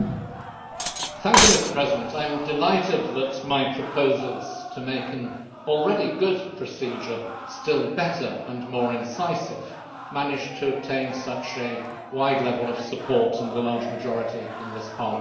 Mr President, I am delighted that my proposals to make an already good procedure still better and more incisive managed to obtain such a wide level of support and a large majority in this Parliament just now.